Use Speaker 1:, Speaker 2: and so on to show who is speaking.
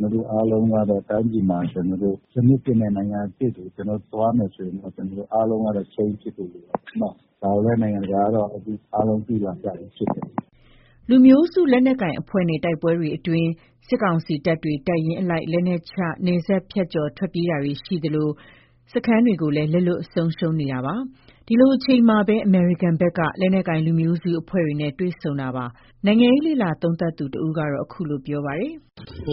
Speaker 1: သူတို့အားလုံးကတော့ တိုင်းပြည်မှာ ကျနော်တို့ စနစ်သစ်နဲ့ နိုင်ငံအသစ်တွေ ကျနော်တို့ သွားမယ်ဆိုရင် ကျနော်တို့ အားလုံးကတော့ change ဖြစ်ဖို့လိုတာပေ့ါနော်။ ဒါကိုလည်း နိုင်ငံတကာကတော့ အားလုံးသိလာကြတာဖြစ်တယ်။
Speaker 2: ” လူမျိုးစုလက်နက်ကိုင်အဖွဲ့နဲ့ တိုက်ပွဲတွေအတွင်း စစ်ကောင်စီတပ်တွေ တပ်ရင်းအလိုက် လက်နက်ချ နယ်စပ်ဖြတ်ကျော် ထွက်ပြေးမှုတာတွေရှိသလို စခန်းတွေလည်း လက်လွှတ် ဆုံးရှုံးနေတာပါ။ ဒီလိုအချိန်မှာပဲ အမေရိကန်ဘက်က လက်နက်ကိုင် လူမျိုးစုအဖွဲ့တွေနဲ့ တွေ့ဆုံတာပါ။ နိုင်ငံလေ့လာသုံးသပ်သူတဦးက ခုလို ပြောပါတယ်။